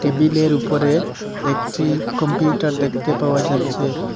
টেবিলের উপরে একটি কম্পিউটার দেখতে পাওয়া যাচ্ছে।